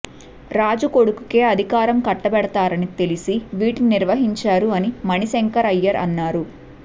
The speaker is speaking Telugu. రాజు కొడుకుకే అధికారం కట్టబెడతారని తెలిసీ వీటిని నిర్వహించారు అని మణిశంకర్ అయ్యర్ అన్నారు